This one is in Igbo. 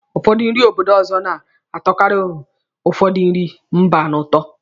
Ụfọdụ nri obodo ọzọ na-atọkarị ụfọdụ nri mba n'ụtọ.